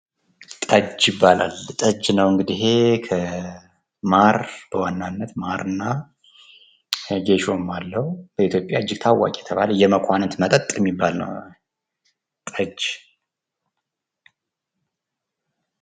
ጠጅ ይባላል። ጠጅ ነው እንግዲህ ኢሄ በዋናነት ከማር እና ከጌሾም አለው። በኢትዮጽያ እጅግ ታዋቂ የተባለ የመኳንንት መጠጥ የሚባል ነው ጠጅ ።